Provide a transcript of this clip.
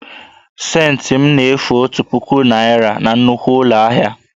Scentị m na-efu otu puku naira na nnukwu ụlọ ahịa